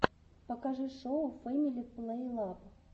покажи шоу фэмили плейлаб